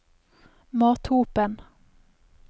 Mathopen